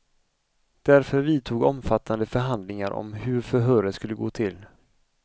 Därför vidtog omfattande förhandlingar om hur förhöret skulle gå till.